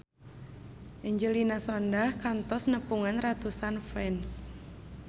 Angelina Sondakh kantos nepungan ratusan fans